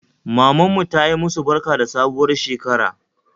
Mamanmu tayi musu barka da sabuwar shekara